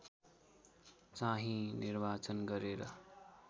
चाहिँ निर्वाचन गरेर